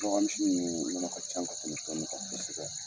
Suraka misiw nunnu nɔnɔ ka ca ka tɛmɛ tɔ nunnu kan kosɛbɛ.